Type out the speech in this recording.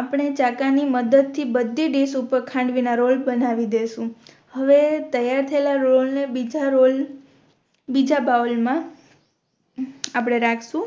આપણે ચાકા ની મદદ થી બધી ડિશ ઉપર ખાંડવી ના રોલ બનાવી દેસું હવે તૈયાર થયેલા રોલ ને બીજા રોલ બીજા બાઉલ મા આપણે રાખશુ